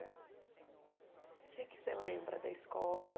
né O que que você lembra da escola?